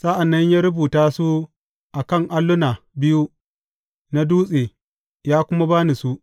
Sa’an nan ya rubuta su a kan alluna biyu na dutse, ya kuma ba ni su.